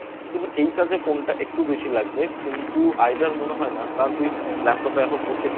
শুধু এই কাজে Phone টা একটু বেশি লাগবে কিন্তু Either মনে হয় না কারণ তুই Laptop এ এখন প্রত্যেকটা Laptop এ